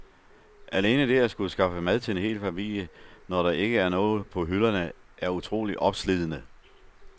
Alene det at skulle skaffe mad til en hel familie, når der ikke er noget på hylderne, er utroligt opslidende.